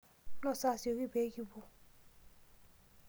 Nosa asioki pee kipou.